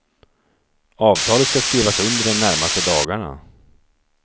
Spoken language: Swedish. Avtalet ska skrivas under de närmaste dagarna.